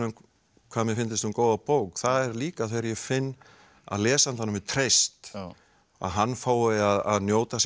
hvað mér fyndist um góða bók það er líka þegar ég finn að lesandanum er treyst að hann fái að njóta sín